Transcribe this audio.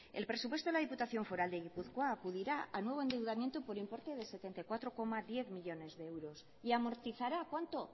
el presupuesto de la diputación foral de gipuzkoa acudirá al nuevo endeudamiento por importe de setenta y cuatro coma diez millónes de euros y amortizara cuánto